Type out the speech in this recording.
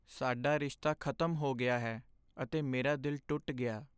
ਸਾਡਾ ਰਿਸ਼ਤਾ ਖ਼ਤਮ ਹੋ ਗਿਆ ਹੈ ਅਤੇ ਮੇਰਾ ਦਿਲ ਟੁੱਟ ਗਿਆ।